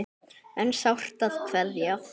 En sárt er að kveðja.